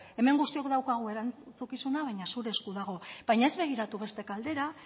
hemen guztiok daukagu erantzukizuna baina zure esku baina ez begiratu beste aldera